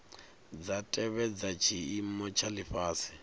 dza tevhedza tshiimo tsha lifhasi